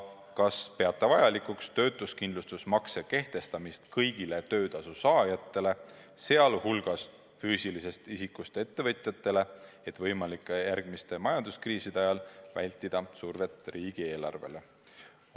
Kas peate vajalikuks töötuskindlustusmakse kehtestamist kõigile töötasu saajatele, sh füüsilisest isikust ettevõtjatele, et võimalike järgmiste majanduskriiside ajal vältida survet riigieelarvele?